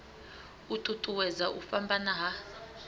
u ṱuṱuwedza u fhambana ha